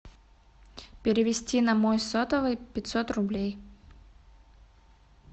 перевести на мой сотовый пятьсот рублей